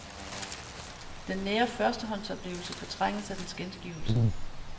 Den nære førstehåndsoplevelse fortrænges af dens gengivelse.